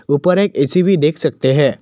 ऊपर एक ए_सी भी देख सकते हैं।